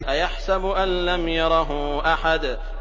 أَيَحْسَبُ أَن لَّمْ يَرَهُ أَحَدٌ